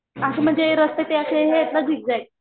असे ते म्हणजे रस्ते ते असे हे येत ना झिकज्याक.